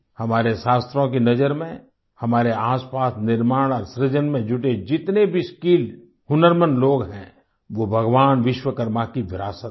हमारे शास्त्रों की नजर में हमारे आसपास निर्माण और सृजन में जुटे जितने भी स्किल्ड हुनरमंद लोग हैं वो भगवान विश्वकर्मा की विरासत हैं